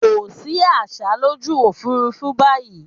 Kò sí àsá lójú òfúrúfú báyìí.